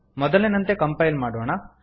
ಮೊದಲಿನಂತೆ ಕಂಪೈಲ್ ಮಾಡೋಣ